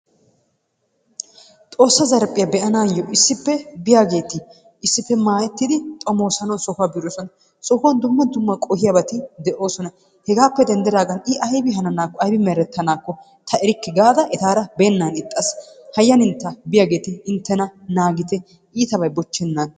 Xoossa zarphphiya be'anaayyo issippe biyageeti issippe maayettidi xoommosanawu sohuwa xoomoosanawu biidosona. Sohuwan dumma dumma qohiyabati de'oosona. Hegaappe denddidaagan i aybi hananaakko aybi merettanaakko ta erikke gaada etaara beenna ixxaas. Hayyanintta biyageeti inttena naagite. Iitabi bochchennan,,